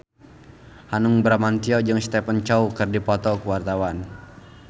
Hanung Bramantyo jeung Stephen Chow keur dipoto ku wartawan